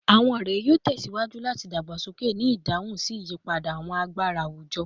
Awọn ọrẹ yoo tẹsiwaju lati dagbasoke ni idahun si iyipada awọn agbara awujọ